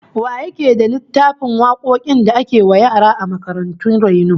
Wa yake da littafin wakokin da ake wa yara a makarantun raino?